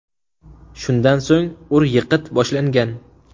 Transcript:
Shundan so‘ng ur-yiqit boshlangan.